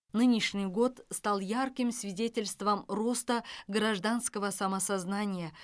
нынешний год стал ярким свидетельством роста гражданского самосознания